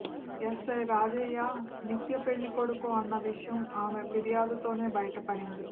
SI Rajaiah నిత్య పెళ్ళికొడుకు అన్న విషయం ఆమె ఫిర్యాదుతోనే బయటపడింది